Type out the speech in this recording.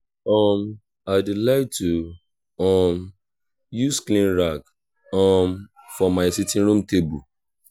my mama like to dey call me pet names wen i dey work and i dey like am